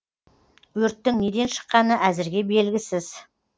өрттің неден шыққаны әзірге белгісіз